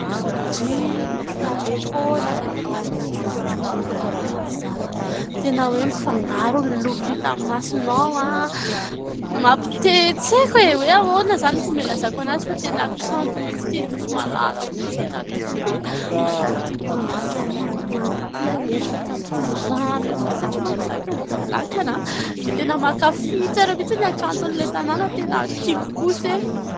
di mafinahsra foana izay tao y mahita natiora tahaka izao aho tena hoe mifangaro ny loko hitamn'ny masinao ah mampitehtseko hoe ahoana izany n vomelazako ana azy fa tena kanto minty ity nosy malala ok ity tena tiko be mahita n'ity lokon-danitra manga-mang ity aza ho miaraka amin'ity rano eto ty satria manko zahayto mbololakanaho dia tena mankafitsa reo mitsy ny akanton'ilay tanàna tena tiko kosa